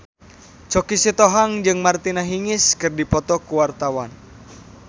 Choky Sitohang jeung Martina Hingis keur dipoto ku wartawan